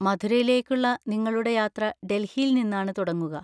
മഥുരയിലേക്കുള്ള നിങ്ങളുടെ യാത്ര ഡൽഹിയിൽ നിന്നാണ് തുടങ്ങുക.